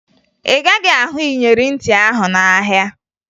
Ị gaghị ahụ iyeri ntị ahụ n'ahịa